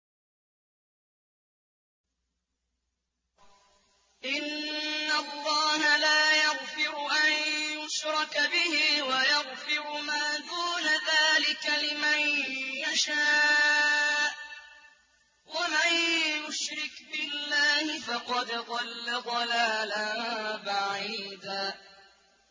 إِنَّ اللَّهَ لَا يَغْفِرُ أَن يُشْرَكَ بِهِ وَيَغْفِرُ مَا دُونَ ذَٰلِكَ لِمَن يَشَاءُ ۚ وَمَن يُشْرِكْ بِاللَّهِ فَقَدْ ضَلَّ ضَلَالًا بَعِيدًا